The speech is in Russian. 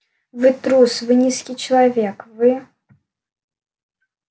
вы трус вы низкий человек вы